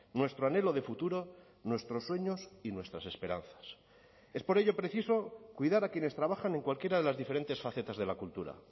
nuestro anhelo de futuro nuestros sueños y nuestras esperanzas es por ello preciso cuidar a quienes trabajan en cualquiera de las diferentes facetas de la cultura